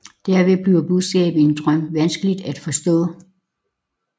Derved bliver budskabet i en drøm vanskelig at forstå